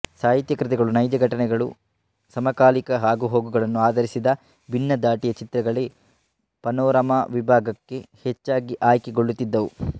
ಸಾಹಿತ್ಯ ಕೃತಿಗಳು ನೈಜ ಘಟನೆಗಳು ಸಮಕಾಲೀನ ಆಗುಹೋಗುಗಳನ್ನು ಆಧರಿಸಿದ ಭಿನ್ನದಾಟಿಯ ಚಿತ್ರಗಳೇ ಪನೋರಮಾ ವಿಭಾಗಕ್ಕೆ ಹೆಚ್ಚಾಗಿ ಆಯ್ಕೆ ಗೊಳ್ಳುತ್ತಿದ್ದವು